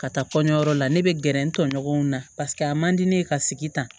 Ka taa kɔɲɔyɔrɔ la ne bɛ gɛrɛ n tɔɲɔgɔnw na paseke a man di ne ye ka sigi tan